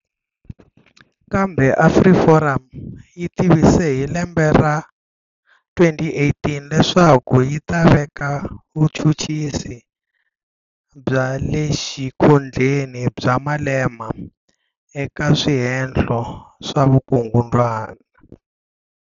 Kambe AfriForum yi tivise hi lembe ra 2018 leswaku yi ta veka vuchuchisi bya le xikhundleni bya Malema eka swihehlo swa vukungundzwana.